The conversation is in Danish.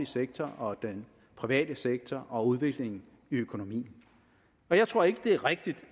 sektor og den private sektor og udviklingen i økonomien jeg tror ikke det er rigtigt